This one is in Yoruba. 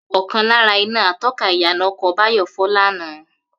Ò̩kan lára iná ató̩ka ìyànà o̩kò̩ Báyò̩ fó̩ lánàá